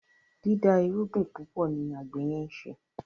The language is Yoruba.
dida irúgbìn púpọ ní àgbè yen nṣe